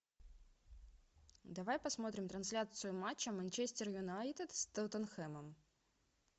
давай посмотрим трансляцию матча манчестер юнайтед с тоттенхэмом